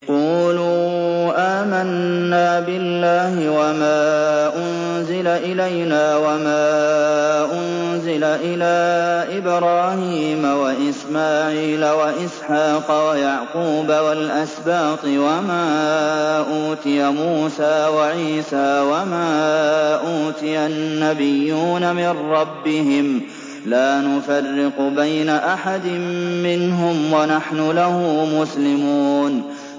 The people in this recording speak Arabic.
قُولُوا آمَنَّا بِاللَّهِ وَمَا أُنزِلَ إِلَيْنَا وَمَا أُنزِلَ إِلَىٰ إِبْرَاهِيمَ وَإِسْمَاعِيلَ وَإِسْحَاقَ وَيَعْقُوبَ وَالْأَسْبَاطِ وَمَا أُوتِيَ مُوسَىٰ وَعِيسَىٰ وَمَا أُوتِيَ النَّبِيُّونَ مِن رَّبِّهِمْ لَا نُفَرِّقُ بَيْنَ أَحَدٍ مِّنْهُمْ وَنَحْنُ لَهُ مُسْلِمُونَ